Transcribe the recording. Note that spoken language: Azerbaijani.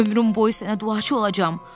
Ömrüm boyu sənə duaçı olacam.